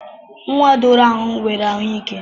Nwa doro ahu nwere ahu ike.